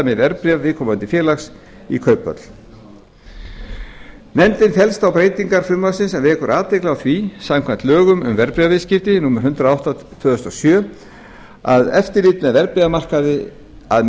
með verðbréf viðkomandi félags í kauphöll nefndin fellst á breytingar frumvarpsins en vekur athygli á því að samkvæmt lögum um verðbréfaviðskipti númer hundrað og átta tvö þúsund og sjö er eftirlit með verðbréfamarkaði er að